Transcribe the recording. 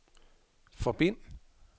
forbind